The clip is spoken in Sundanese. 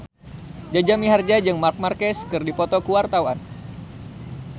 Jaja Mihardja jeung Marc Marquez keur dipoto ku wartawan